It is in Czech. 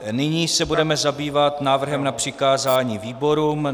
Nyní se budeme zabývat návrhem na přikázání výborům.